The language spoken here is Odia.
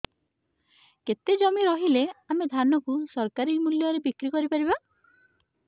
କେତେ ଜମି ରହିଲେ ଆମେ ଧାନ କୁ ସରକାରୀ ମୂଲ୍ଯରେ ବିକ୍ରି କରିପାରିବା